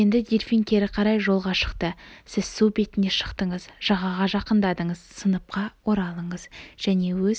енді дельфин кері қарай жолға шықты сіз су бетіне шықтыңыз жағаға жақындадыңыз сыныпқа оралыңыз және өз